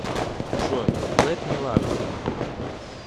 джой лэт ми лав ю